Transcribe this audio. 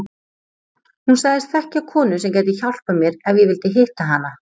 Hún sagðist þekkja konu sem gæti hjálpað mér ef ég vildi hitta hana.